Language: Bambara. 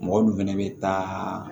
Mɔgɔ dun fɛnɛ bɛ taa